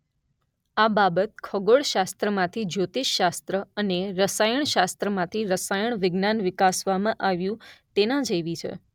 આ બાબત ખગોળશાસ્ત્રમાંથી જ્યોતિષશાસ્ત્ર અને રસાયણશાસ્ત્રમાંથી રસાયણ વિજ્ઞાન વિકાસવવામાં આવ્યું તેના જેવી છે.